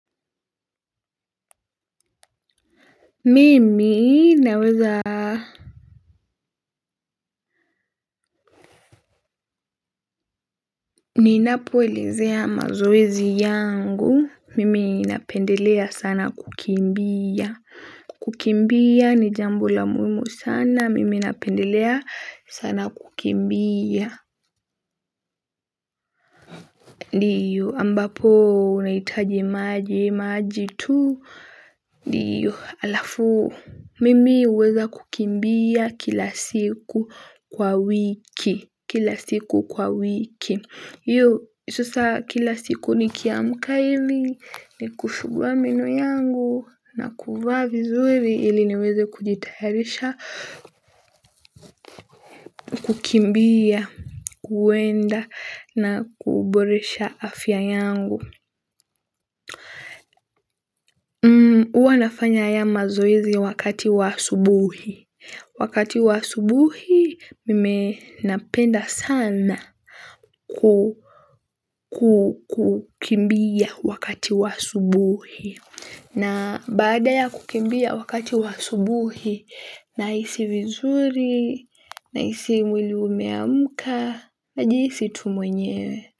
Mimi naweza. Ninapoelezea mazoezi yangu mimi napendelea sana kukimbia. Kukimbia ni jambo la muhimu sana mimi napendelea sana kukimbia. Ndiyo ambapo unahitaji maji maji tuu. Ndiyo alafu mimi huweza kukimbia kila siku kwa wiki. Kila siku kwa wiki. Yo, sasa kila siku nikiamka ili, nikushugua meno yangu, na kuvaa vizuri ili niweze kujitayarisha, kukimbia, kuwenda, na kuboresha afya yangu. Huwa nafanya haya mazoezi wakati wa asubuhi. Wakati wa asubuhi, mimi napenda sana kukimbia wakati wa asubuhi. Na baada ya kukimbia wakati wa asubuhi, nahisi vizuri, nahisi mwili umeamka, najihisi tu mwenyewe.